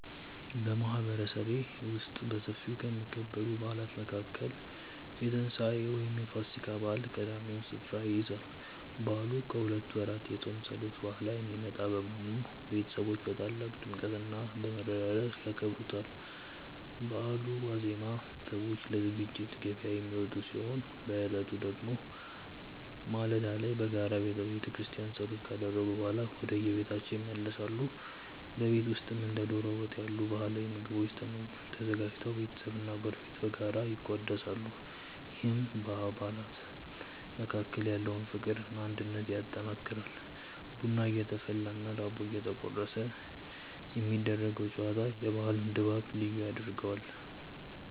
በማህበረሰቤ ውስጥ በሰፊው ከሚከበሩ በዓላት መካከል የትንሳኤ (ፋሲካ) በዓል ቀዳሚውን ስፍራ ይይዛል። በዓሉ ከሁለት ወራት የጾም ጸሎት በኋላ የሚመጣ በመሆኑ፣ ቤተሰቦች በታላቅ ድምቀትና በመረዳዳት ያከብሩታል። በበዓሉ ዋዜማ ሰዎች ለዝግጅት ገበያ የሚወጡ ሲሆን፣ በዕለቱ ደግሞ ማለዳ ላይ በጋራ በቤተክርስቲያን ጸሎት ካደረጉ በኋላ ወደየቤታቸው ይመለሳሉ። በቤት ውስጥም እንደ ዶሮ ወጥ ያሉ ባህላዊ ምግቦች ተዘጋጅተው ቤተሰብና ጎረቤት በጋራ ይቋደሳሉ፤ ይህም በአባላት መካከል ያለውን ፍቅርና አንድነት ያጠናክራል። ቡና እየተፈላና ዳቦ እየተቆረሰ የሚደረገው ጨዋታ የበዓሉን ድባብ ልዩ ያደርገዋል።